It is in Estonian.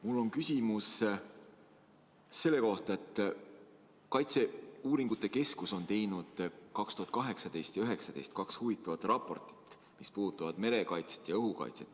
Mul on küsimus selle kohta, et kaitseuuringute keskus on teinud 2018 ja 2019 kaks huvitavat raportit, mis puudutavad merekaitset ja õhukaitset.